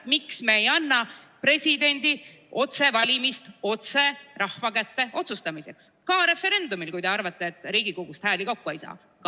Miks me ei anna presidendi otsevalimist otse rahva kätte otsustamiseks ka referendumil, kui te arvate, et Riigikogust hääli kokku ei saa?